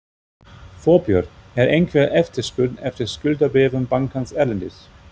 Þorbjörn: Er einhver eftirspurn eftir skuldabréfum bankans erlendis?